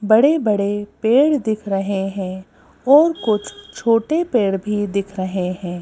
बड़े बड़े पेड़ दिख रहे हैं और कुछ छोटे पेड़ भी दिख रहे हैं।